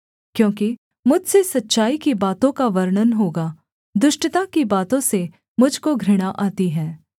क्योंकि मुझसे सच्चाई की बातों का वर्णन होगा दुष्टता की बातों से मुझ को घृणा आती है